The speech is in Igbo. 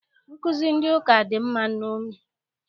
Nkụzi ndị ụka dị mma nṅomi.